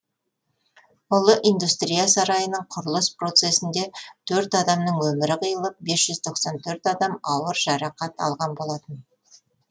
ұлы индустрия сарайының құрылыс процесінде төрт адамның өмірі қиылып бес жүз тоқсан төрт адам ауыр жарақат алған болатын